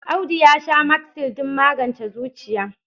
Audu ya sha Magsil don magance zuciya.